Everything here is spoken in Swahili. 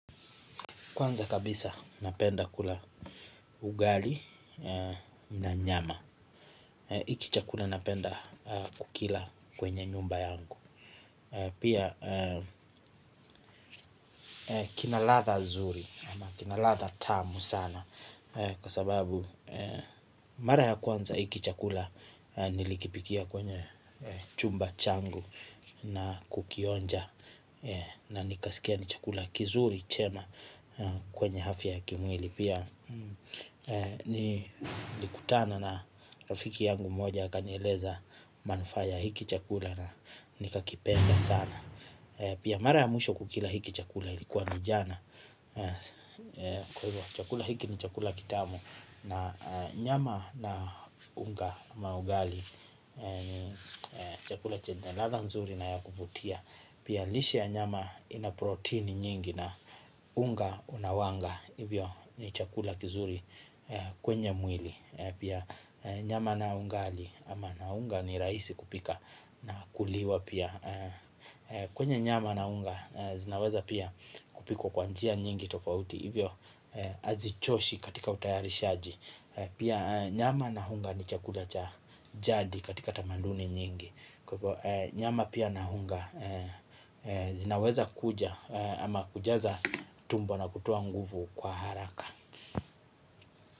Kwanza kabisa napenda kula ugali na nyama hiki chakula napenda kukila kwenye nyumba yangu. Pia kinaladha zuri ama kinaladha tamu sana, kwa sababu mara ya kwanza hiki chakula nilikipikia kwenye chumba changu na kukionja. Na nikasikia ni chakula kizuri chema kwenye afya ya kimwili. Pia nilikutana na rafiki yangu moja akanieleza manufaa ya hiki chakula na nikakipenda sana. Pia mara ya mwisho kukila hiki chakula ilikuwa ni jana. Chakula hiki ni chakula kitamu na nyama na unga ama ugali. Chakula chenye ladha nzuri na ya kuvutia. Pia lishe ya nyama ina protini nyingi na unga unawanga hivyo ni chakula kizuri kwenye mwili. Pia nyama na ugali ama na unga ni rahisi kupika na kuliwa pia. Kwenye nyama na unga zinaweza pia kupikwa kwa njia nyingi tofauti, hivyo hazichoshi katika utayarishaji. Pia nyama na unga ni chakula cha jadi katika tamaduni nyingi, kwa hivyo nyama pia na unga zinaweza kuja ama kujaza tumbo na kutoa nguvu kwa haraka.